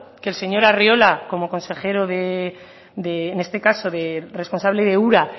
que el señor arriola como consejero de en este caso de responsable de ura